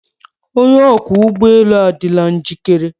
Onye ọkwọ ụgbọ elu adịla njikere.